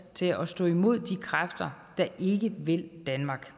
til at stå imod de kræfter der ikke vil danmark